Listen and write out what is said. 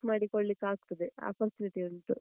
ಮಾಡಿ ಕೊಳ್ಳಿಕ್ಕೆ ಆಗ್ತದೆ, opportunity ಉಂಟು.